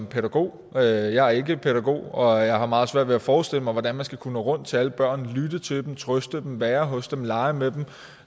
pædagog og jeg og jeg har meget svært ved at forestille mig hvordan man skal kunne nå rundt til alle børn og lytte til dem trøste dem være hos dem lege med dem